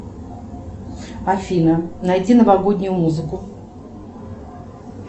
афина найди новогоднюю музыку